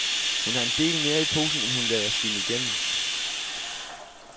Hun har en del mere i posen, end hun lader skinne igennem.